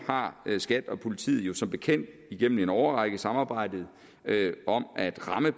har skat og politiet jo som bekendt igennem en årrække samarbejdet om at ramme